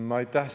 Aitäh!